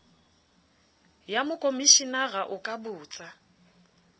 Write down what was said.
ya mokomeshenara o ka botsa